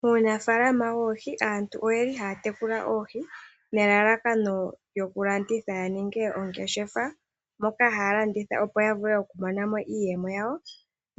Muunafaalama woohi aantu oye li haya tekula oohi nelalakano lyoku landitha yaninge oongeshefa. Ohaa landitha opo yavule okumona iiyemo yawo